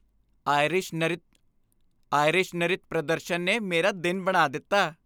Irish ਨਰਿਤ ਪ੍ਰਦਰਸ਼ਨ ਨੇ ਮੇਰਾ ਦਿਨ ਬਣਾ ਦਿੱਤਾ।